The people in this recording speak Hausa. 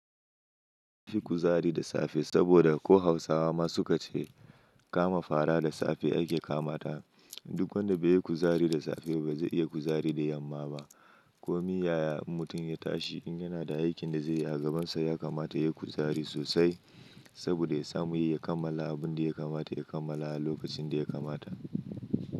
Yi kuzari da safe saboda ko hausawa ma su ka ce kama fara da safe ake kamata. Duk wanda bai yi kuzari da safe ba, bai za iya kuzari da yamma ba. Ko miya ya in mutum ya tashi in yana da aikin da zai yi a gabansa ya kamata ya yi kuzari sosai saboda ya samu ya kammala abin da ya kamata ya kammala a lokacin da ya kamata.